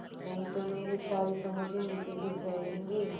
नहीं तो मेरे सारे समोसे नीचे गिर जायेंगे